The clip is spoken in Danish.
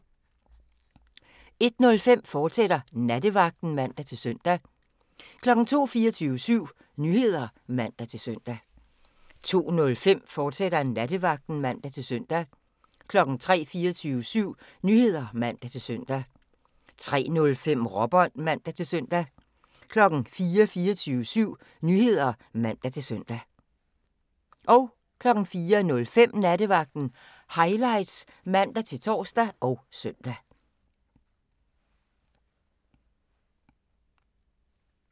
01:05: Nattevagten, fortsat (man-søn) 02:00: 24syv Nyheder (man-søn) 02:05: Nattevagten, fortsat (man-søn) 03:00: 24syv Nyheder (man-søn) 03:05: Råbånd (man-søn) 04:00: 24syv Nyheder (man-søn) 04:05: Nattevagten Highlights (man-tor og søn)